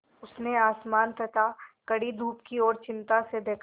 उसने आसमान तथा कड़ी धूप की ओर चिंता से देखा